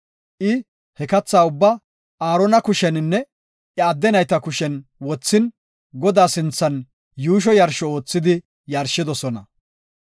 I he katha ubbaa Aarona kusheninne iya adde nayta kushen wothin, Godaa sinthan yuusho yarsho oothidi yarshidosona.